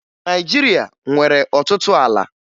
Naịjirịa nwere ọtụtụ ala